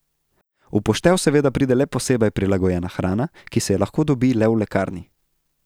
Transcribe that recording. V poštev seveda pride le posebej prilagojena hrana, ki se je lahko dobi le v lekarni.